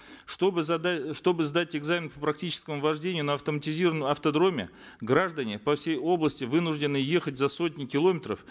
чтобы чтобы сдать экзамен по практическому вождению на автоматизированном автодроме граждане по всей области вынуждены ехать за сотни километров